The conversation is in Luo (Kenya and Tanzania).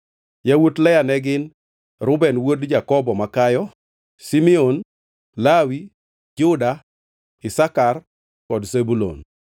Yawuot Lea ne gin: Reuben wuod Jakobo makayo, Simeon, Lawi, Juda, Isakar kod Zebulun.